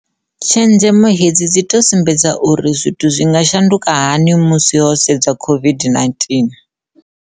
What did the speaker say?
Tshenzhemo hedzi dzi tou sumbedza uri zwithu zwi nga shanduka hani musi ho sedzwa COVID-19.